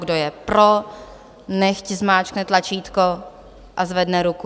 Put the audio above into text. Kdo je pro, nechť zmáčkne tlačítko a zvedne ruku.